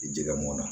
Jɛgɛ mɔnna